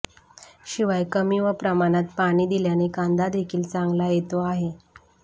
शिवाय कमी व प्रमाणात पाणी दिल्याने कांदा देखील चांगला येतो आहे